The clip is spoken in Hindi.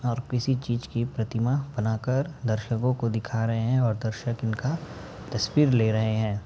और किसी चीज की प्रतिमा बनाकर दर्शकों को दिखा रहे हैं और दर्शक इनका तस्वीर ले रहे हैं।